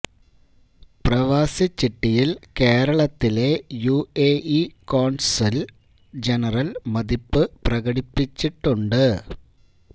പ്രവാസി ചിട്ടിയില് കേരളത്തിലെ U A E consul general മതിപ്പു പ്രകടിപ്പിച്ചിട്ടുണ്ട്